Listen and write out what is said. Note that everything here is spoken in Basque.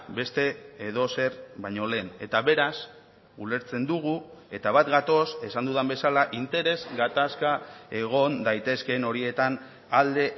beste edozer baino lehen eta beraz ulertzen dugu eta bat gatoz esan dudan bezala interes gatazka egon daitezkeen horietan alde